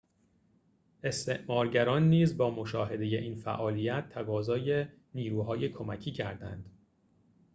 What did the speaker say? استعمارگران نیز با مشاهده این فعالیت تقاضای نیروهای کمکی کردند